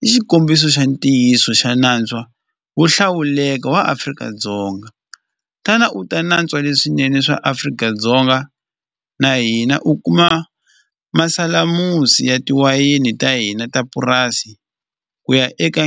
i xikombiso xa ntiyiso xa natswa wo hlawuleka wa Afrika-Dzonga tana u ta natswa leswinene swa Afrika-Dzonga na hina u kuma masalamusi ya tiwayini ta hina ta purasi ku ya eka .